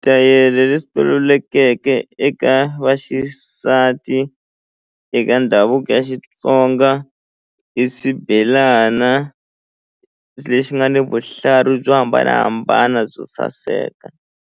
leswi tolovelekeke eka vaxisati eka ndhavuko ya Xitsonga i swibelana lexi nga ni vuhlalu byo hambanahambana byo saseka.